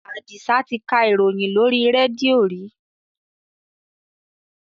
Àdìsá ti ka ìròyìn lóri rédíò rí.